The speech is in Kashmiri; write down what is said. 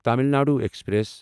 تامل ناڈو ایکسپریس